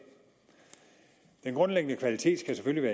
den grundlæggende kvalitet skal selvfølgelig